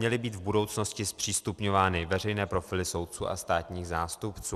měly být v budoucnosti zpřístupňovány veřejné profily soudců a státních zástupců.